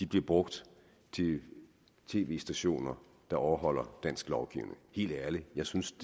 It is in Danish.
brugt til tv stationer der overholder dansk lovgivning helt ærligt jeg synes